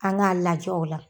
An k'a lajɛ o la.